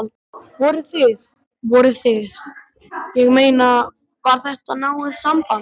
Voruð þið. voruð þið. ég meina. var þetta náið samband?